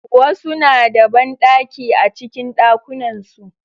Wasu na da banɗaki a cikin ɗakunan su